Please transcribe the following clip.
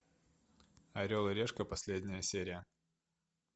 орел и решка последняя серия